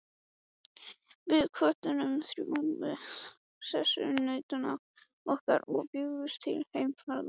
Við kvöddum hrjúfa sessunautinn okkar og bjuggumst til heimferðar.